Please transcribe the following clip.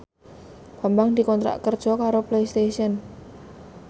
Bambang dikontrak kerja karo Playstation